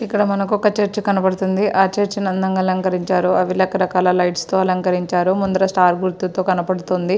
ఇక్కడ మనకు ఒక చర్చ్ కనబడుతుంది ఆ చర్చ్ ని అందంగా అలంకరించారు అని రకరకాల లైట్స్ తో అలంకరించారు ముందుల స్టార్ గుర్తుతో కనబడుతుంది.